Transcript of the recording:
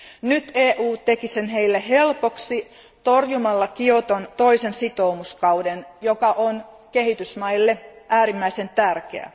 Nyt EU teki sen heille helpoksi, torjumalla Kioton toisen sitoumuskauden, joka on kehitysmaille äärimmäisen tärkeä.